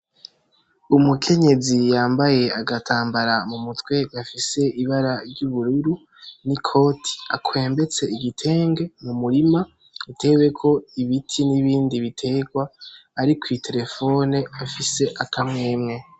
Umukenyezi yambaye agatambara mu mutwe gafise ibara ry’ubururu n'ikoti, akwembetse igitenge mu murima uteweko ibiti n’ibindi bitegwa, ari ku iterefoni afise akamwemwe.